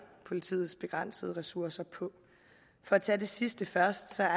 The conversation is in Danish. politiets begrænsede ressourcer på for at tage det sidste først er